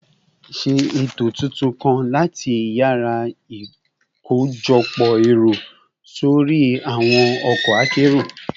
Ṣe eto tuntun kan lati yara ikojọpọ ẹru sori awọn ọkọ akero